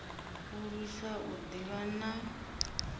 u lwisa u ḓivha na